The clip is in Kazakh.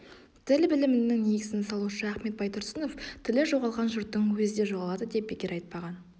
тіл білімінің негізін салушы ахмет байтұрсынов тілі жоғалған жұрттың өзі де жоғалады деп бекер айтпаған